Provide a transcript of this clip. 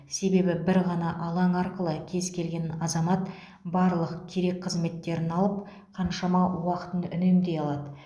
себебі бір ғана алаң арқылы кез келген азамат барлық керек қызметтерін алып қаншама уақытын үнемдей алады